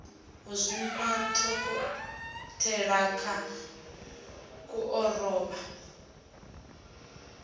u zwima dokotelakha ku orobo